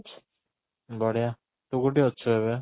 ବଢିଆ, ତୁ କୋଉଠି ଅଛୁ ଏବେ?